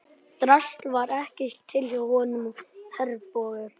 Drasl var ekki til hjá honum og Herborgu.